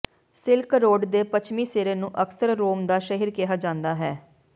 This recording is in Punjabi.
ਸਿਲਕ ਰੋਡ ਦੇ ਪੱਛਮੀ ਸਿਰੇ ਨੂੰ ਅਕਸਰ ਰੋਮ ਦਾ ਸ਼ਹਿਰ ਕਿਹਾ ਜਾਂਦਾ ਹੈ